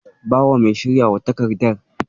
Bawa mai shiryawa takardar.